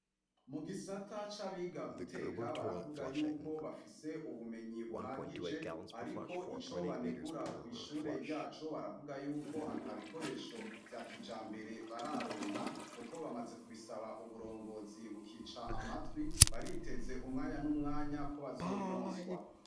Mu gisata c'abiga guteka baravuga yuko bafise ubumenyi buhagije, ariko ico banegura kw'ishure ryacu baravuga yuko ata bikoresho vya kija mbere bararonka, kuko bamaze kubisaba uburongozi bukica amatwi bariteze umwanya n'umwanya ko bazobironswa.